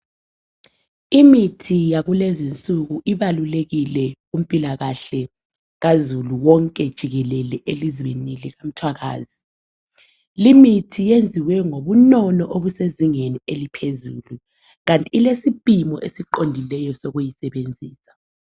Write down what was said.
Imithi yakulezinsuku ibalulekile kumpilakahle kazulu wonke jikelele elizweni lemthwakazi. Limithi yenziwe ngobunono obusezingeni eliphezulu, kanti ilesipimo esiqondileyo sokuyisebenzisa.